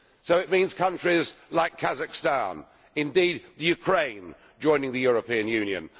So it means countries like Kazakhstan, indeed the Ukraine, joining the European Union.